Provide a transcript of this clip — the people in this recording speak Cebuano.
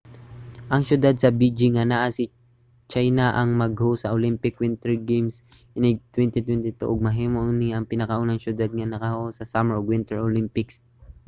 ang siyudad sa beijing nga naa sa china ang mag-host sa olympic winter games inig 2022 ug mahimo ni nga pinakaunang siyudad nga nakahost sa summer ug winter olympics